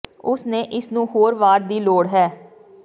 ਉਸ ਨੇ ਇਸ ਨੂੰ ਹੋਰ ਵਾਰ ਦੀ ਲੋੜ ਹੈ